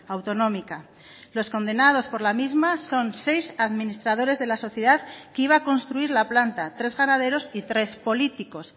autonómica los condenados por la misma son seis administradores de la sociedad que iba a construir la planta tres ganaderos y tres políticos